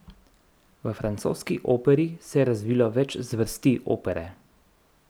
V francoski operi se je razvilo več zvrsti opere.